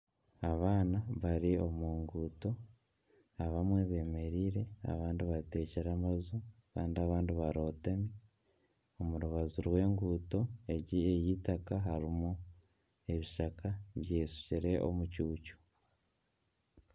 Abaana bari omu nguuto abamwe bemereire abandi bateekire amaju kandi abandi barotami. Omu rubaju rw'enguuto egi ey'eitaka ebishaka byeshukire omucuucu.